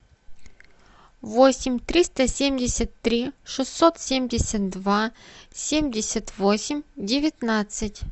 восемь триста семьдесят три шестьсот семьдесят два семьдесят восемь девятнадцать